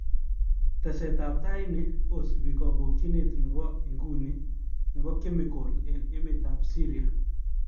Tesetab tai ini kosibi kobokyinet nebo iguni nebo chemical eng emetab Syria